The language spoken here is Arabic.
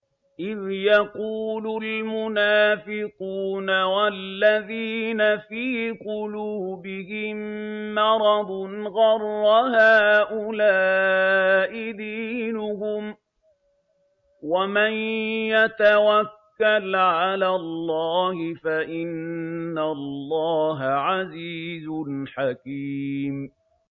إِذْ يَقُولُ الْمُنَافِقُونَ وَالَّذِينَ فِي قُلُوبِهِم مَّرَضٌ غَرَّ هَٰؤُلَاءِ دِينُهُمْ ۗ وَمَن يَتَوَكَّلْ عَلَى اللَّهِ فَإِنَّ اللَّهَ عَزِيزٌ حَكِيمٌ